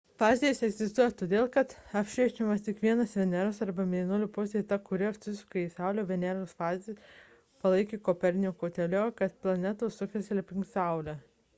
fazės egzistuoja todėl kad apšviečiama tik viena veneros arba mėnulio pusė – ta kuri atsukta į saulę. veneros fazės palaikė koperniko teoriją kad planetos sukasi aplink saulę